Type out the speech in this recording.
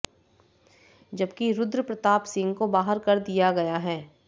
जबकि रुद्र प्रताप सिंह को बाहर कर दिया गया है